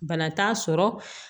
Bana t'a sɔrɔ